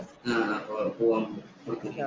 പോവാന്‍ കൊടുത്തേക്കുന്നേ